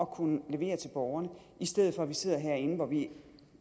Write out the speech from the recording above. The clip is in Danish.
kunne levere til borgerne i stedet for at vi sidder herinde hvor vi